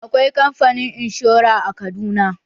Akwai kamfani inshora a Kaduna.